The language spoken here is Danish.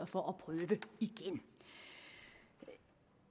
for at prøve igen